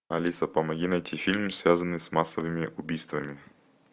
алиса помоги найти фильм связанный с массовыми убийствами